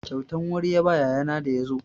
Kyautan wuri ya ba yayana da ya zo.